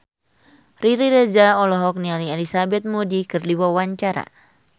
Riri Reza olohok ningali Elizabeth Moody keur diwawancara